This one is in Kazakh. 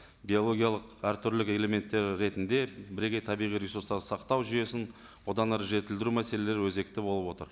биологиялық әртүрлі элементтер ретінде бірегей табиғи ресурстарды сақтау жүйесін одан әрі жетілдіру мәселелері өзекті болып отыр